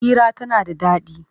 Hira tana da daɗi.